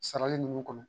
Sarali nunnu kɔnɔ